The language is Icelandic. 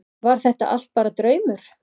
Var þetta allt bara draumur?